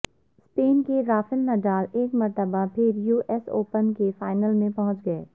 سپین کے Rafael Nadal ایک مرتبہ پھر یو ایس اوپن کے فائنل میں پہنچ گئے